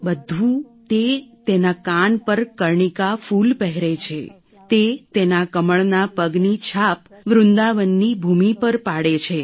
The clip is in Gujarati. બધું તે તેના કાન પર કર્ણિકા ફૂલ પહેરે છે તે તેના કમળના પગની છાપ વૃંદાવનની ભૂમિ પર પાડે છે